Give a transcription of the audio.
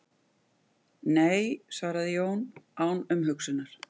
Nei svaraði Jón án umhugsunar.